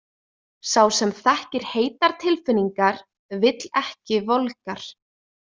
Sá sem þekkir heitar tilfinningar vill ekki volgar.